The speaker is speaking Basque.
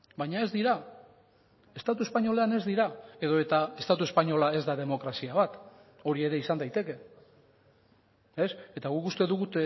baina ez dira estatu espainolean ez dira edota estatu espainola ez da demokrazia bat hori ere izan daiteke eta guk uste dugu